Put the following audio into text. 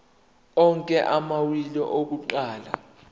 onke amawili akuqala